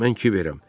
Mən Kiberəm.